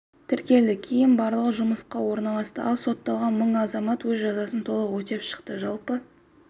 тіркелді кейін барлығы жұмысқа орналасты ал сотталған мың азамат өз жазасын толық өтеп шықты жалпы